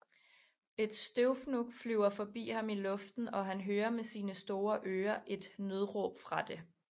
Et støvfnug flyver forbi ham i luften og han hører med sine store øre et nødråb fra det